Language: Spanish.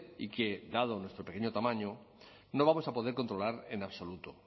y que dado nuestro pequeño tamaño no vamos a poder controlar en absoluto